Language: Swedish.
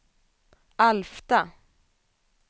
Alfta